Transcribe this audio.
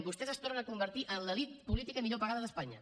vostès es tornen a convertir en l’elit política millor pagada d’espanya